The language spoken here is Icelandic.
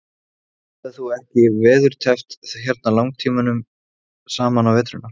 Dóri, hann er bæði önugur og gramur.